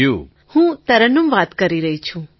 તરન્નુમ ખાન હું તરન્નુમ વાત કરી રહી છું